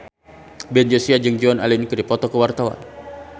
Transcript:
Ben Joshua jeung Joan Allen keur dipoto ku wartawan